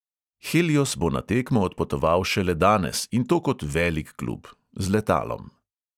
Helios bo na tekmo odpotoval šele danes in to kot velik klub – z letalom.